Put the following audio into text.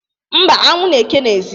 Mba, anwụ n’eke n’ezi.